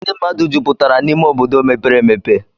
Ndị mmadụ jupụtara n'ime obodo mepere emepe.